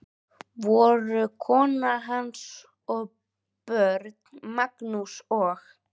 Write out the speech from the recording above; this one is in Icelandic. Voru kona hans og börn, Magnús og